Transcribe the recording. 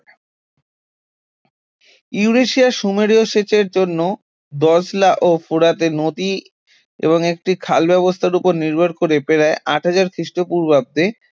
ইউরেশিয়ার সুমেরীয় সেচের জন্য দজলা ও ফোরাতে নদী এবং একটি খাল ব্যবস্থার উপর নির্ভর করে প্রায় আট হাজার খ্রিস্টপূর্বাব্দে